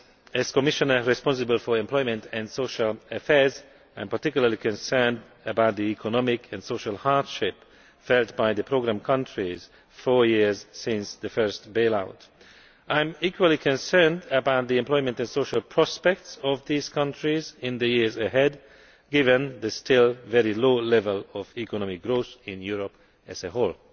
As Commissioner responsible for employment and social affairs, I am particularly concerned about the economic and social hardship felt by the programme countries four years after the first bail out. I am equally concerned about the employment and social prospects in these countries in the years ahead, given the still very low level of economic growth in Europe as a whole.